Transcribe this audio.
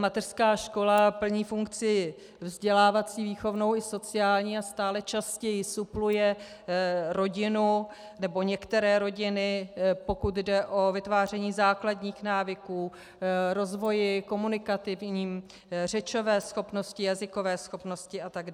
Mateřská škola plní funkci vzdělávací, výchovnou i sociální a stále častěji supluje rodinu, nebo některé rodiny, pokud jde o vytváření základních návyků, rozvoj komunikativní, řečové schopnosti, jazykové schopnosti atd.